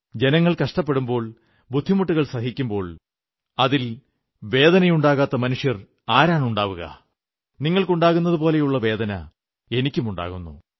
ജനങ്ങൾ കഷ്ടപ്പെടുമ്പോൾ ബുദ്ധിമുട്ടുകൾ സഹിക്കുമ്പോൾ അതിൽ വേദനയുണ്ടാകാത്ത മനുഷ്യർ ആരാണുണ്ടാവുക നിങ്ങൾക്കുണ്ടാകുന്നതുപോലെതന്നെയുള്ള വേദന എനിക്കുമുണ്ടാകുന്നു